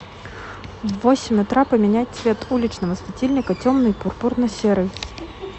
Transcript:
в восемь утра поменять цвет уличного светильника темный пурпурно серый